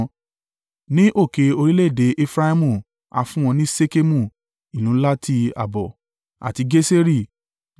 Ní òkè orílẹ̀-èdè Efraimu, a fún wọn ní Ṣekemu (ìlú ńlá ti ààbò), àti Geseri